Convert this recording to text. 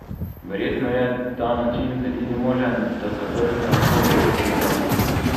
Verjetno je ta način edini možen, da se vrne hokej v Podmežaklo.